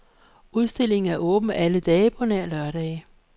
Udstillingen er åben alle dage på nær lørdage.